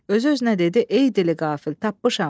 Özü özünə dedi: “Ey dili qafil, tapmışam.